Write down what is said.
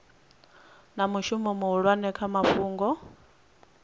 na mushumo muhulwane kha fhungo